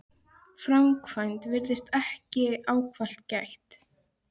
framkvæmd virðist þessa ekki ávallt gætt.